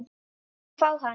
Láttu mig fá hann.